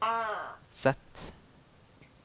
Z